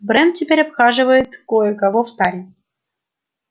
брент теперь обхаживает кое-кого в таре